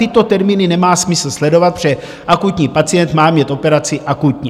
Tyto termíny nemá smysl sledovat, protože akutní pacient má mít operaci akutně.